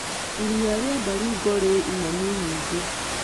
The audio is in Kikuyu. Iria rĩa Baringo rĩ ing'ang'i nyingĩ.